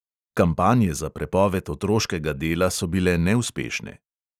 Kampanje za prepoved otroškega dela so bile neuspešne.